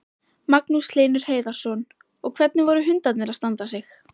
Magnús Hlynur Hreiðarsson: Og hvernig voru hundarnir að standa sig?